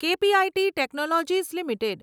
KPIT technologies limited